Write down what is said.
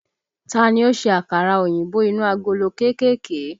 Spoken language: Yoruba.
Ta ni ó ṣe àkàrà òyìnbó inú agolo kéékèèké?